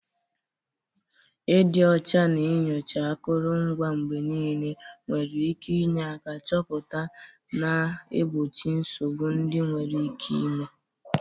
Ịdị ọcha na nyochaa akụrụngwa mgbe niile nwere ike inye aka chọpụta na igbochi nsogbu ndị nwere ike ime.